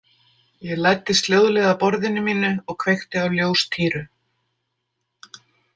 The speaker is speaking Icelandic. Ég læddist hljóðlega að borðinu mínu og kveikti á ljóstýru.